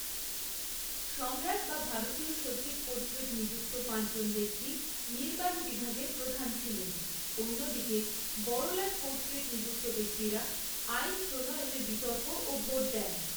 সম্রাট বা ভারতীয় সচীব কর্তৃক নিযুক্ত পাঁচজন ব্যক্তি নির্বাহী বিভাগের প্রধান ছিলেন, অন্যদিকে বড়লাট কর্তৃক নিযুক্ত ব্যক্তিরা আইন প্রণয়নে বিতর্ক ও ভোট দেন।